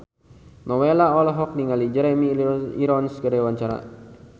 Nowela olohok ningali Jeremy Irons keur diwawancara